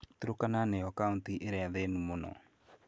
Turkana nĩyo kauntĩ ĩrĩa thĩnu mũno.